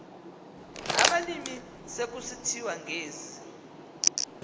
abalimi sekusithiwa ngezi